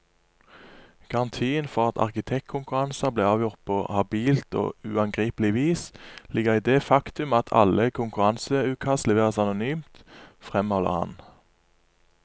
Garantien for at arkitektkonkurranser blir avgjort på habilt og uangripelig vis, ligger i det faktum at alle konkurranseutkast leveres anonymt, fremholder han.